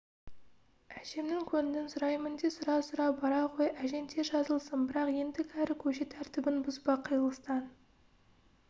әжемнің көңілін сұраймын де сұра-сұра бара ғой әжең тез жазылсын бірақ ендігәрі көше тәртібін бұзба қиылыстан